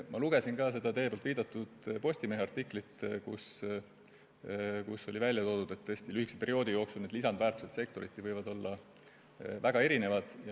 Ma lugesin ka teie viidatud Postimehe artiklit, milles oli välja toodud, et lühikese perioodi jooksul võivad need lisandväärtused olla sektoriti väga erinevad.